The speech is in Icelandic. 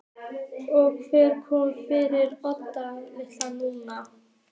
Og hvernig komið er fyrir Oddi litla núna.